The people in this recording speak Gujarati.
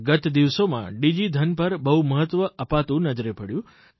ગત દિવસોમાં ડિજીધન પર બહુ મહત્વ અપાતું નજરે પડ્યું